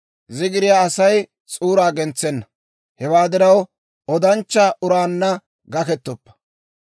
Zigiriyaa Asay s'uuraa gentsenna; hewaa diraw, odanchcha uraanna gakkettoppa.